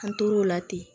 An tor'o la ten